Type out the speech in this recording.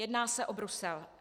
Jedná se o Brusel.